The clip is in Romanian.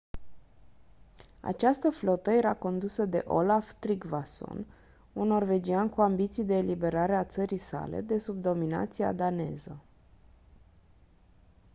această flotă era condusă de olaf trygvasson un norvegian cu ambiții de eliberare a țării sale de sub dominația daneză